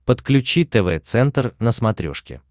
подключи тв центр на смотрешке